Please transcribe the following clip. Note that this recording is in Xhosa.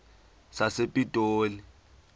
sasepitoli